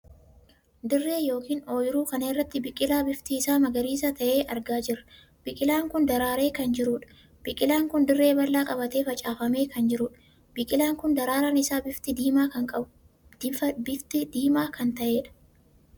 Dirree ykn ooyiruu kana irratti biqilaa bifti isaa magariisa tahee argaa jirra. biqilaan kun daraaree kan jiruudha. biqilaan kun dirree bal'aa qabatee facaafamee kan jiruudha. biqilaan kun daraaraan isaa bifti diimaa kan taheedha.